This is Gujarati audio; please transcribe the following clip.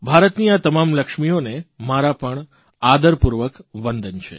ભારતની આ તમામ લક્ષ્મીઓને મારા પણ આદરપૂર્વક વંદન છે